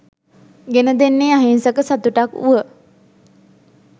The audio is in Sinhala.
ගෙන දෙන්නේ අහිංසක සතුටක් වුව